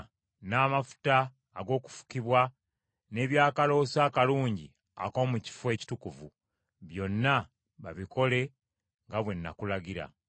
n’amafuta ag’okufukibwa, n’ebyakaloosa akalungi ak’omu Kifo Ekitukuvu. “Byonna babikole nga bwe nakulagira.”